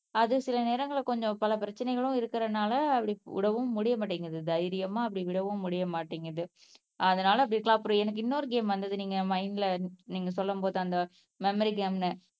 அது சில நேரங்கள்ல கொஞ்சம் பல பிரச்சனைகளும் இருக்கறதுனால அப்படி விடவும் முடிய மாட்டேங்குது தைரியமா அப்படி விடவும் முடிய மாட்டேங்குது அதனால அப்படி இருக்கலாம். அப்புறம் எனக்கு இன்னொரு கேம் வந்தது நீங்க மைன்ட்ல நீங்க சொல்லும் போது அந்த மெமரி கேம்ன்னு